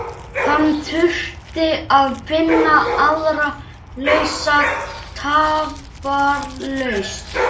Hann þurfti að finna aðra lausn tafarlaust.